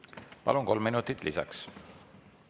Palun, kolm minutit lisaks!